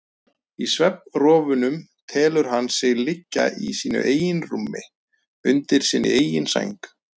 Í svefnrofunum telur hann sig liggja í sínu eigin rúmi, undir sinni eigin sæng.